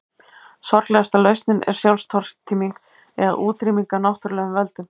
Sorglegasta lausnin er sjálfstortíming eða útrýming af náttúrulegum völdum.